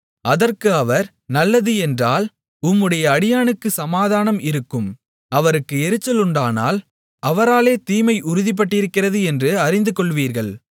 அதற்கு அவர் நல்லது என்றால் உம்முடைய அடியானுக்குச் சமாதானம் இருக்கும் அவருக்கு எரிச்சலுண்டானால் அவராலே தீமை உறுதிப்பட்டிருக்கிறது என்று அறிந்துகொள்வீர்கள்